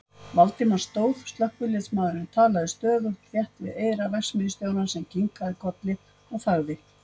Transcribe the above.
Valdimar stóð, slökkviliðsmaðurinn talaði stöðugt þétt við eyra verksmiðjustjórans sem kinkaði kolli og þagði.